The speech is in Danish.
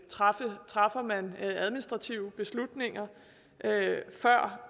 træffer træffer man administrative beslutninger før